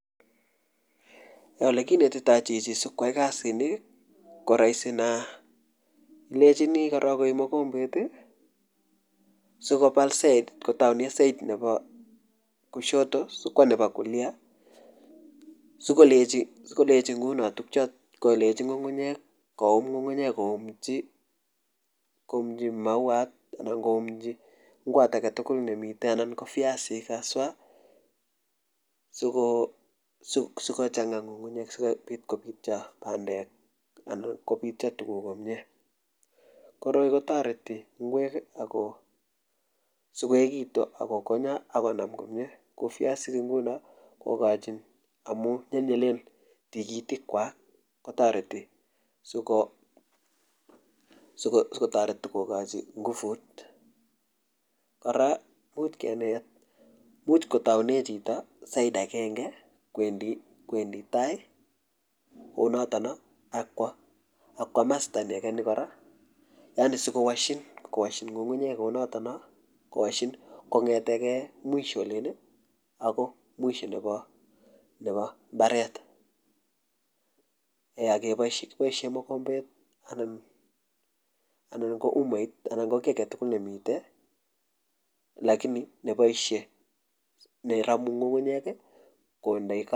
ole kinetitoi chichi sikoai kasit ni ko rahisi nea ilenjini korok koip mokombet sikobal side kotounee side nebo kushoto sikwo nebo kulia koum ngungunyek koumchi mauat anan koumchi ngwot aketugul nemite anan koviasik haswaa sikochanga asikobityo tuguk komye koroi kotoreti ngwek sikoekitu akokonyo akonam komye piasik nguno kokochin amu nyelnyelen tigitik kwak kotoreti sikotoret kokochi nguvut kora komuch koboisie chito side akenge koeendi tai kounotono akwo kimasta ni ageni kora yaani sikowashin konyetegei mwisho olin agoi mwisho nebo mbaret eeh akeboisie mukombet anan ko umait anan ko mi aketugul nemite lakini neboishe neromu ngungunyek kondoi .